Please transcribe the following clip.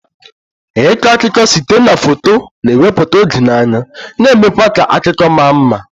Ịkọ akụkọ site na foto, na-ewepụta oge n'anya, na-eme kwa ka akụkọ ma mma.